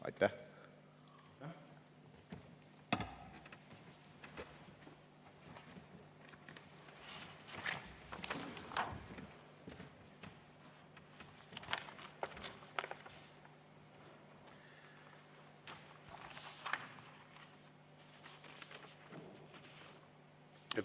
Aitäh!